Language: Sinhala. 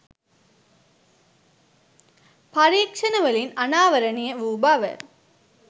පරීක්ෂණවලින් අනාවරණය වූ බව